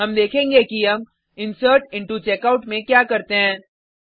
हम देखेंगे कि हम इंसर्टिंटोचेकआउट में क्या करते हैं